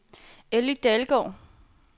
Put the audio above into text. Elly Dalgaard